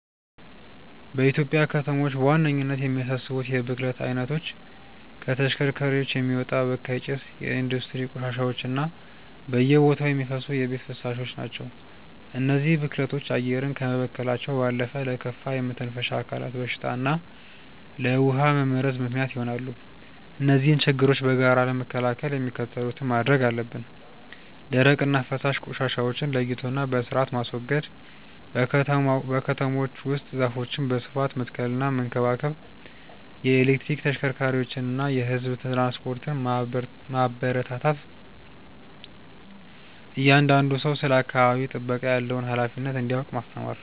በኢትዮጵያ ከተሞች በዋነኝነት የሚያሳስቡት የብክለት አይነቶች ከተሽከርካሪዎች የሚወጣ በካይ ጭስ፣ የኢንዱስትሪ ቆሻሻዎች እና በየቦታው የሚፈሱ የቤት ፍሳሾች ናቸው። እነዚህ ብክለቶች አየርን ከመበከላቸው ባለፈ ለከፋ የመተንፈሻ አካላት በሽታ እና ለውሃ መመረዝ ምክንያት ይሆናሉ። እነዚህን ችግሮች በጋራ ለመከላከል የሚከተሉትን ማድረግ አለብን፦ ደረቅና ፈሳሽ ቆሻሻዎችን ለይቶና በስርአት ማስወገድ። በከተሞች ውስጥ ዛፎችን በስፋት መትከልና መንከባከብ። የኤሌክትሪክ ተሽከርካሪዎችንና የህዝብ ትራንስፖርትን ማበረታታት። እያንዳንዱ ሰው ስለ አካባቢ ጥበቃ ያለውን ሃላፊነት እንዲያውቅ ማስተማር።